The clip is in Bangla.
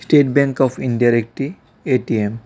স্টেট ব্যাঙ্ক অফ ইন্ডিয়ার একটি এ_টি_এম .